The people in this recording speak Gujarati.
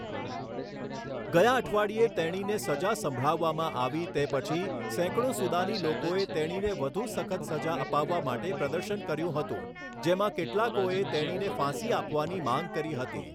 ગયા અઠવાડિયે તેણીને સજા સંભળાવવામાં આવી તે પછી, સેંકડો સુદાની લોકોએ તેણીને વધું સખત સજા અપાવવા માટે પ્રદર્શન કર્યું હતું, જેમાં કેટલાકોએ તેણીને ફાંસી આપવાની માંગ કરી હતી.